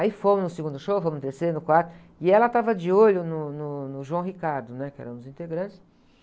Aí fomos no segundo show, fomos no terceiro, no quarto, e ela estava de olho no, no, no, né? Que era um dos integrantes.